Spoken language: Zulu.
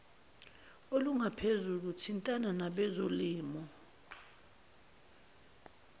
olungaphezulu thintana nabezolimo